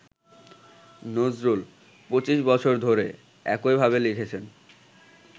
নজরুল ‘পঁচিশ বছর ধরে’ একইভাবে লিখেছেন